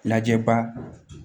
Lajɛ ba